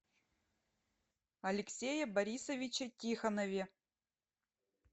алексее борисовиче тихонове